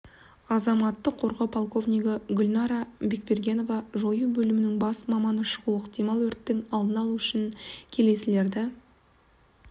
азаматтық қорғау полковнигі гулнара бекбергенова жою бөлімінің бас маманы шығуы ықтимал өрттің алдын алу үшін келесілерді